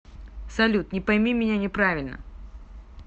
салют не пойми меня неправильно